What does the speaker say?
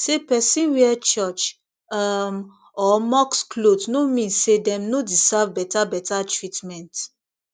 say person wear church um or mosque cloth no mean say dem no deserve better better treatment